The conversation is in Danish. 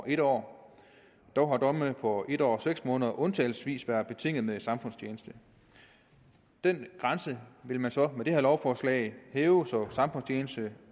en år dog har domme på en år og seks måneder undtagelsesvis været betinget med samfundstjeneste den grænse vil man så med det her lovforslag hæve så samfundstjeneste